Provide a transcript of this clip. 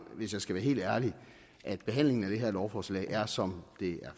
hvis jeg skal være helt ærlig at behandlingen af det her lovforslag som det er